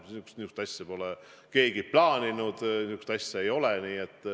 Niisugust asja pole keegi plaaninud, niisugust asja ei ole.